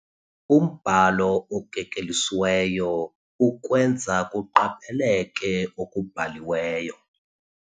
Umbhalo okekelisiweyo ukwenza kuqapheleke okubhaliweyo.